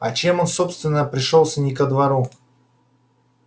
а чем он собственно пришёлся не ко двору